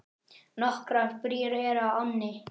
Nokkrar brýr eru á ánni.